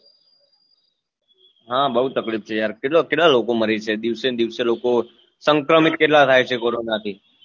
હા બવ તકલીફ છે યાર કેટલા કેટલા લોકો મરે છે દિવસે ને દિવસે લોકો સંક્રમિત કેટલા થાય છે કોરોના થી